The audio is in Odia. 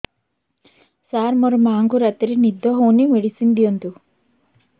ସାର ମୋର ମାଆଙ୍କୁ ରାତିରେ ନିଦ ହଉନି ମେଡିସିନ ଦିଅନ୍ତୁ